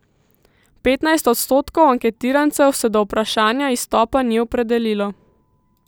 Petnajst odstotkov anketirancev se do vprašanja izstopa ni opredelilo.